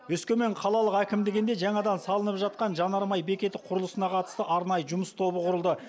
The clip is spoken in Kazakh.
өскемен қалалық әкімдігінде жаңадан салынып жатқан жанармай бекеті құрылысына қатысты арнайы жұмыс тобы құрылды